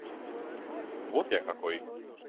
вот я какой